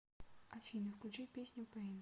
афина включи песню пэйн